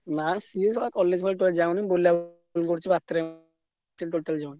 ନାଁ ସିଏ college ଫଲେଜ ଆଉ ଯାଉନି ବୁଲ ବୁଲି କରୁଛି ବତେରାମି କରୁଛି totally ଯାଉନି।